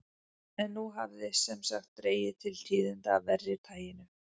En nú hafði sem sagt dregið til tíðinda af verra taginu.